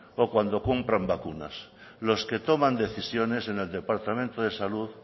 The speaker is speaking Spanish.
o cuando compran vacunas los que toman decisiones en el departamento de salud